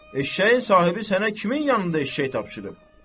Eşşəyin sahibi sənə kimin yanında eşşək tapşırıb?